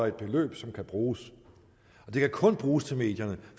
et beløb som kan bruges og det kan kun bruges til medierne